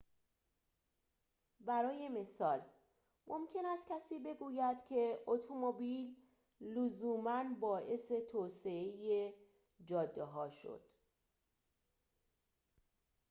برای مثال ممکن است کسی بگوید که اتومبیل لزوما باعث توسعه جاده‌ها شد